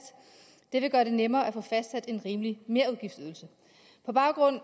det vil gøre det nemmere at få fastsat en rimelig merudgiftsydelse på baggrund